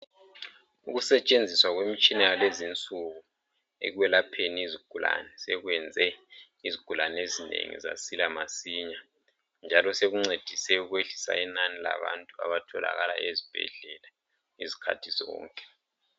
Ukusentshenziswa kwemitshina yalezinsuku ekwelapheni imikhuhlane sekwenze izigulane ezinengi zasila masinya, njalo sekuncedise ekwehliseni inani labantu abatholakala ezibhedlela izikhathi zonke.